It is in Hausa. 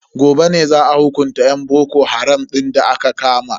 Gobe ne za a hukunta yan boko haram din da aka kama.